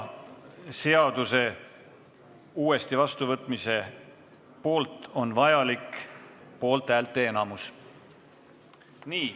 Seaduse uuesti vastuvõtmise poolt on vaja saada poolthäälte enamus.